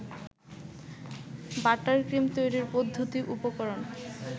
buttercream তৈরির পদ্ধতি উপকরণ